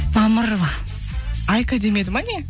мамырова айка демеді ма не